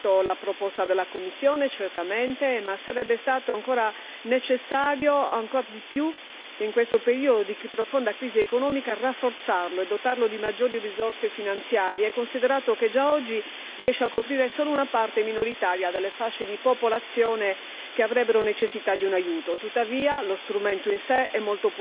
Il Parlamento ha certamente migliorato la proposta della Commissione, ma sarebbe stato necessario, ancora di più in questo periodo di profonda crisi economica, rafforzare il Fondo e dotarlo di maggiori risorse finanziarie, considerato che già oggi riesce a coprire solo una parte minoritaria delle fasce di popolazione che avrebbero necessità di un aiuto.